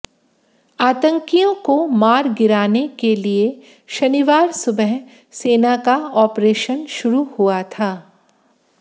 आतंकियों को मार गिराने के लिए शनिवार सुबह सेना का ऑपरेशन शुरू हुआ था